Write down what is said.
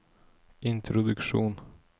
introduksjon